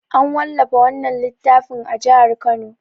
An wallafa wannan littafin a jihar Kano.